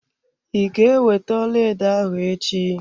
I ga ewete ọlaedo ahụ echi?